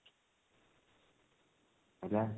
ହେଲା